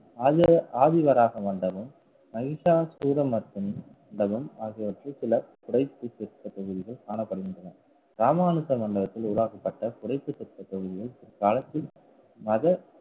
Alva~ ஆவி வராக மண்டபம் மகிஷாசுரமர்த்தினி மண்டபம் ஆகியவற்றில் சில புடைப்பு சிற்ப பகுதிகள் காணப்படுகின்றன. ராமானுஜ மண்டபத்தில் உருவாக்கப்பட்ட புடைப்பு சிற்ப பகுதிகள் காலத்தில் மத